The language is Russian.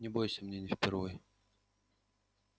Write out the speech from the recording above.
не бойся мне не впервой